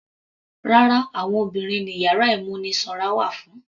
Rárá, àwọn obìnrin ni yàrá ìmúnisanra wà fún.